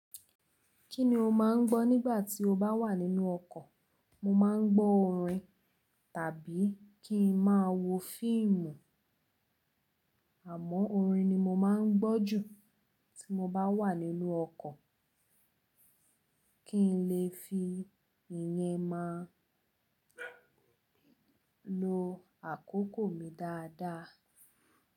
Kí ni o máà ń gbọ́ nígbà tí o bá wà nínú ọkọ̀? Mo máa ń gbọ́ orin tàbí kí n máa wo fíìmù. Àmọ́ orin ni mo máa ń gbọ́ jù tí mo bá wà nínú ọkọ̀, kí n lè fi ìyẹ́ máa lo àkókò mi dáadáa.